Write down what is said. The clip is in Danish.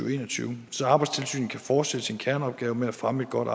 og en og tyve så arbejdstilsynet kan fortsætte sin kerneopgave med at fremme et godt